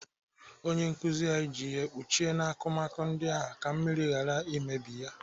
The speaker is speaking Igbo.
Onye nkụzi anyị ji ihe kpuchie n'akụmakụ ndị ahụ ka mmiri ghara imebi ya.